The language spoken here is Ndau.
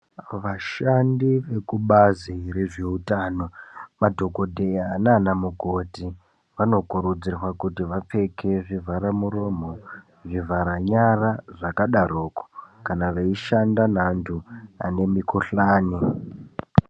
Vashandi vekubazi rezveutano, madhokotheya naana mukoti vano kurudzirwa kuti vapfeke zvivhara muromo, zvivharanyara, zvaka daroko kana veishanda nevantu vane mukhuhlani.